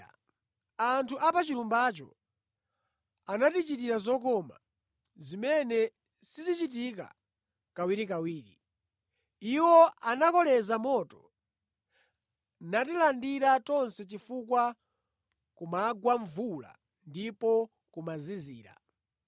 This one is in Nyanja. Anthu a pa chilumbacho anatichitira zokoma zimene sizichitika kawirikawiri. Iwo anakoleza moto natilandira tonse chifukwa kumagwa mvula ndipo kumazizira.